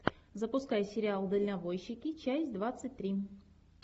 запускай сериал дальнобойщики часть двадцать три